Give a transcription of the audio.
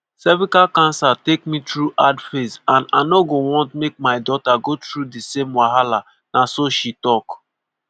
"cervical cancer take me through hard phase and i no go want make my daughter go through di same wahala" na so she tok.